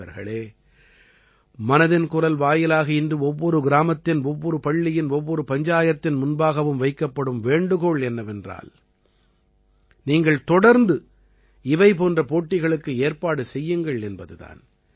நண்பர்களே மனதின் குரல் வாயிலாக இன்று ஒவ்வொரு கிராமத்தின் ஒவ்வொரு பள்ளியின் ஒவ்வொரு பஞ்சாயத்தின் முன்பாகவும் வைக்கப்படும் வேண்டுகோள் என்னவென்றால் நீங்கள் தொடர்ந்து இவை போன்ற போட்டிகளுக்கு ஏற்பாடு செய்யுங்கள் என்பது தான்